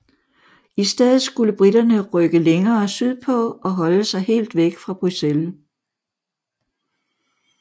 I stedet skulle briterne rykke længere sydpå og holde sig helt væk fra Bruxelles